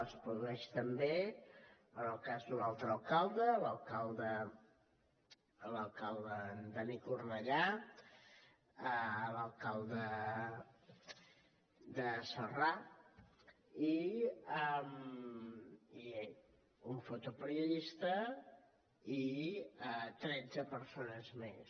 es produeix també en el cas d’un altre alcalde l’alcalde dani cornellà alcalde de celrà i un fotoperiodista i tretze persones més